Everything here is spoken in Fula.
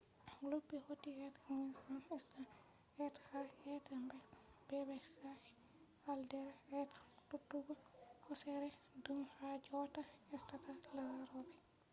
luttube hauti be livingston island be ha be mbeebake caldera be tutugo hoosere dum ha jotta estata larobe